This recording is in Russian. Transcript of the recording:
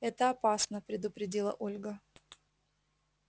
это опасно предупредила ольга